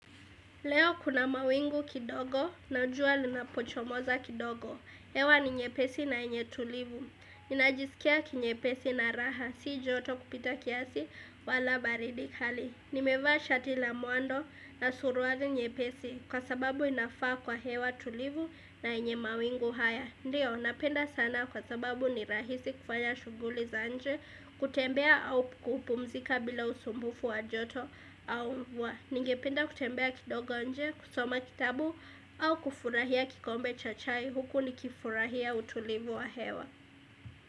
Leo kuna mawingu kidogo na jua linapochomoza kidogo. Hewa ni nyepesi na yenye tulivu Ninajisikia kinyepesi na raha Si joto kupita kiasi wala baridi kali. Nimevaa shati na mwando na suluari nyepesi kwasababu inafaa kwa hewa tulivu na yenye mawingu haya. Ndiyo, napenda sana kwasababu ni rahisi kufanya shughuli za nje, kutembea au kupumzika bila usumbufu wa joto au Ningependa kutembea kidogo nje kusoma kitabu au kufurahia kikombe cha chai huku nikifurahia utulivu wa hewa.